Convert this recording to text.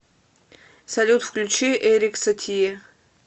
салют включи эрик сатие